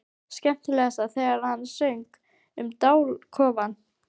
Skemmtilegast þegar hann söng um dalakofann.